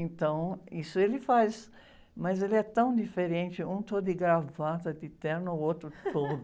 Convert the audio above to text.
Então, isso ele faz, mas ele é tão diferente, um todo de gravata, de terno, o outro todo...